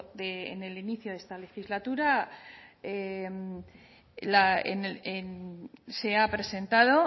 de en el inicio de esta legislatura la en se ha presentado